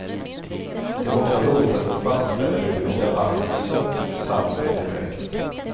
Det var också roligt att få fastställa huruvida vattnet var sött, salt eller bräckt.